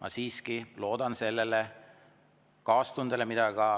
Ma siiski loodan sellele kaastundele, mida ka